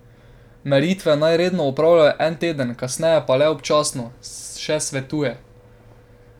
Meritve naj redno opravljajo en teden, kasneje pa le občasno, še svetuje.